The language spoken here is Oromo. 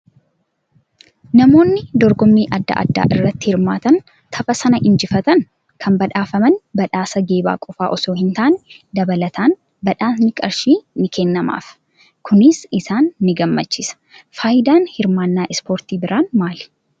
Namoonni dorgommii adda addaa irratti hirmaatanii tapha sana injifatan kan badhaafaman badhaasa geebaa qofaa osoo hin taane, dabalataan badhaasni qarshii ni kennamaaf. Kunis isaan ni gammachiisa. Fayidaan hirmaannaa ispoortii biraan maali?